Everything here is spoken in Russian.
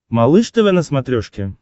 малыш тв на смотрешке